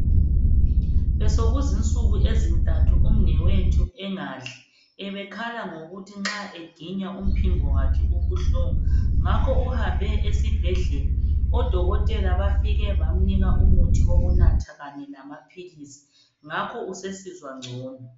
Besokuzi nsuku ezintathu umnewethu engadli .Ebekhala ngokuthi nxa eginya umphimbo wakhe ubuhlungu .Ngakho uhambe esibhedlela ,odokotela bafike bamnika umuthi wokunatha kanye lamaphilisi .Ngakho usesizwa ngcono .